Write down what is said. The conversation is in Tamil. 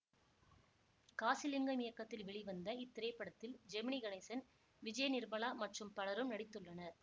காசிலிங்கம் இயக்கத்தில் வெளிவந்த இத்திரைப்படத்தில் ஜெமினி கணேசன் விஜய நிர்மலா மற்றும் பலரும் நடித்துள்ளனர்